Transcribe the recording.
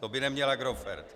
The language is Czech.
To by neměl Agrofert.